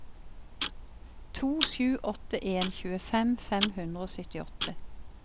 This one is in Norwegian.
to sju åtte en tjuefem fem hundre og syttiåtte